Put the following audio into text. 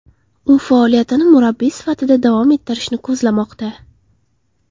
U faoliyatini murabbiy sifatida davom ettirishni ko‘zlamoqda.